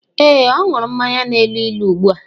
Ee, ọ ṅụrụ mmanya na-elu ilu ugbu a.